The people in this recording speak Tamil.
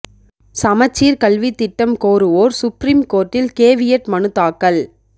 சமச்சீர் கல்வித் திட்டம் கோருவோர் சுப்ரீம் கோர்ட்டில் கேவியட் மனு தாக்கல்